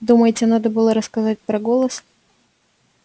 думаете надо было рассказать про голос